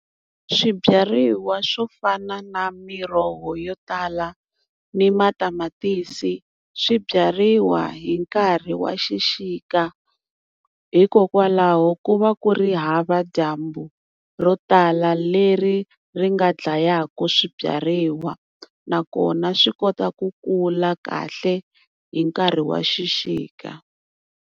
Swibyariwa swo fana na miroho yo tala ni matamatisi, swi byariwa hi nkarhi wa xixika. Hikokwalaho ku va ku ri hava dyambu ro tala leri ri nga dlayaka swibyariwa, nakona swi kota ku kula kahle hi nkarhi wa xixika.